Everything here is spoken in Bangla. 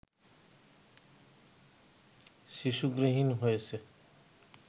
শিশু গৃহহীন হয়েছে